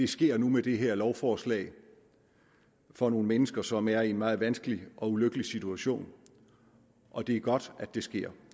sker nu med det her lovforslag for nogle mennesker som er i en meget vanskelig og ulykkelig situation og det er godt at det sker